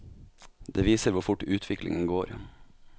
Det viser hvor fort utviklingen går.